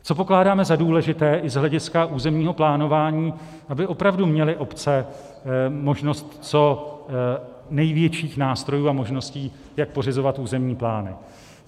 Co pokládáme za důležité i z hlediska územního plánování, aby opravdu měly obce možnost co největších nástrojů a možností, jak pořizovat územní plány.